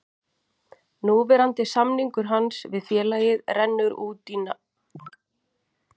Núverandi samningur hans við félagið rennur út næsta sumar.